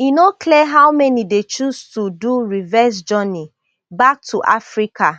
e no clear how many dey choose to do reverse journey back to africa